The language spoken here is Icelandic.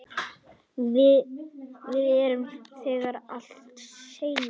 Við erum þegar dálítið seinir.